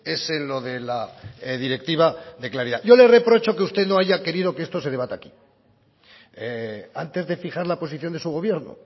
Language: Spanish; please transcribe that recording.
es en lo de la directiva de claridad yo le reprocho que usted no haya querido que esto se debata aquí antes de fijar la posición de su gobierno